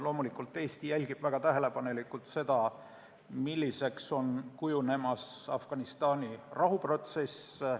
Loomulikult jälgib Eesti väga tähelepanelikult seda, milliseks kujuneb Afganistani rahuprotsess.